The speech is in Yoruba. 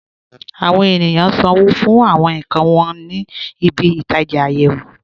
Àwọn ènìyàn ṣánwó̩ fún àwọn nkàn wọn ní ìbí-itaja ayéwò.